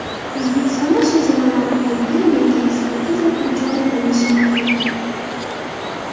O‘zbekistonda shajarani aniqlaydigan yangi ekspertiza turi joriy qilinishi mumkin.